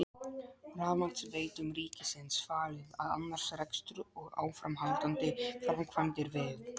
Rafmagnsveitum ríkisins falið að annast rekstur og áframhaldandi framkvæmdir við